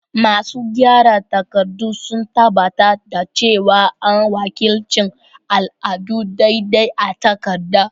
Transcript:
Masu gyara takardu sun tabbatar da cewa an wakilci al'adu daidai a takarda.